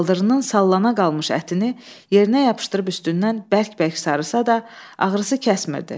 Baldırından sallana qalmış ətini yerinə yapışdırıb üstündən bərk-bərk sarısa da, ağrısı kəsmirdi.